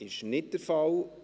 – Das ist nicht der Fall.